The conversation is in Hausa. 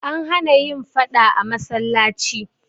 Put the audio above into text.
An hana yin faɗa a cikin masallaci.